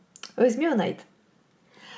өзіме ұнайды